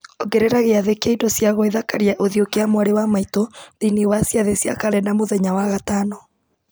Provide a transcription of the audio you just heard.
ongerera gĩathĩ kĩa indo cia gwĩthakaria ũthiũ kĩa mwarĩ wa maitũ thĩinĩ wa ciathĩ cia karenda mũthenya wa gatano